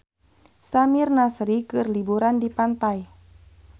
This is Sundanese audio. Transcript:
Samir Nasri keur liburan di pantai